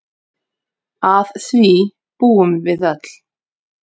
Að því búum við öll.